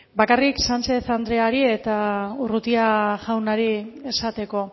bakarrik sánchez andreari eta urrutia jaunari esateko